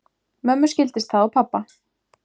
Mömmu skildist það á pabba